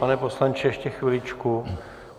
Pane poslanče, ještě chviličku.